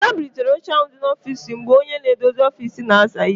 Ada bulitere oche ndị áhụ̀ dị n'ofiisi ha mgbe onye na-edozi ofisi na-aza íhé.